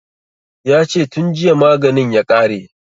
Ya ce tun jiya maganin ya ƙare